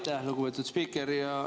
Aitäh, lugupeetud spiiker!